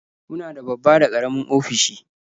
Muna da babba da karamin ofisoshi.